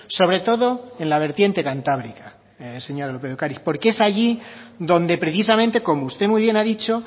sobre todo en la vertiente cantábrica señora lópez de ocariz porque es allí donde precisamente como usted muy bien ha dicho